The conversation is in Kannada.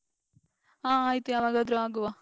ಹಾ ಆಯ್ತು ಯಾವಾಗಾದ್ರು ಆಗುವ.